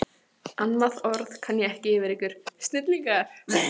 Annað orð kann ég ekki yfir ykkur: snillingar.